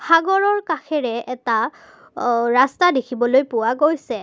সাগৰৰ কাষেৰে এটা অ ৰাস্তা দেখিবলৈ পোৱা গৈছে।